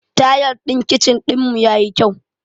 Tayal ɗin kichin ɗinmu yayi kyau.